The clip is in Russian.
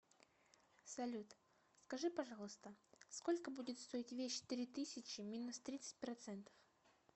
салют скажи пожалуйста сколько будет стоить вещь три тысячи минус тридцать процентов